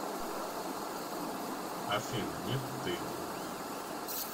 афина нет ты